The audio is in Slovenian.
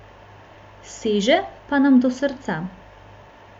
Seže pa nam do srca.